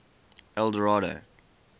eldorado